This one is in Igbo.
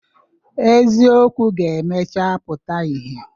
Eziokwu ga-emecha pụta ihe.